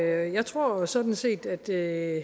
jeg tror jo sådan set at det er